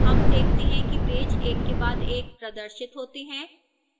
हम देखते हैं कि पेज एक के बाद एक प्रदर्शित होते हैं